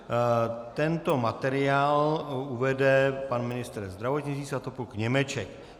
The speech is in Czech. Tento materiál uvede pan ministr zdravotnictví Svatopluk Němeček.